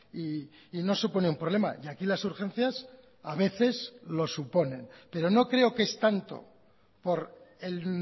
y no supone un problema y aquí las urgencias a veces lo suponen pero no creo que es tanto por el